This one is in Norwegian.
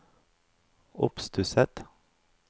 oppstusset